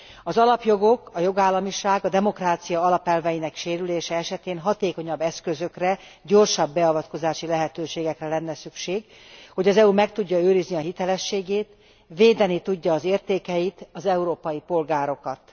Az alapjogok, a jogállamiság, a demokrácia alapelveinek sérülése esetén hatékonyabb eszközökre, gyorsabb beavatkozási lehetőségekre lenne szükség, hogy az EU meg tudja őrizni hitelességét, védeni tudja az értékeit, az európai polgárokat.